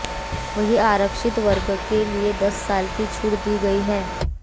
वहीं आरक्षित वर्ग के लिए दस साल की छूट दी गई है